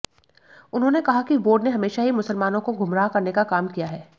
उन्होंने कहा कि बोर्ड ने हमेशा ही मुसलमानों को मुमराह करने का काम किया है